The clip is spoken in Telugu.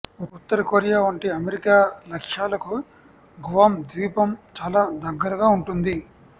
ఉత్తరకొరియా వంటి అమెరికా లక్ష్యాలకు గువామ్ ద్వీపం చాలా దగ్గరగా ఉంటుంది